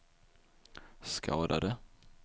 skadade